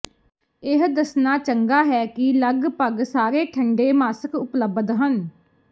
ਇਹ ਦੱਸਣਾ ਚੰਗਾ ਹੈ ਕਿ ਲਗਭਗ ਸਾਰੇ ਠੰਢੇ ਮਾਸਕ ਉਪਲਬਧ ਹਨ